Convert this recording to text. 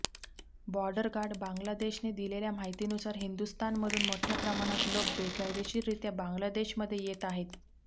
border guard Bangladesh ने दिलेल्या माहितीनुसार हिंदुस्थानमधून मोठ्या प्रमाणात लोक बेकायदेशीररित्या बांग्लादेशमध्ये येत आहेत